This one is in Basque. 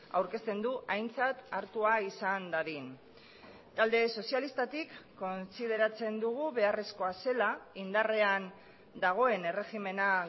aurkezten du aintzat hartua izan dadin talde sozialistatik kontsideratzen dugu beharrezkoa zela indarrean dagoen erregimena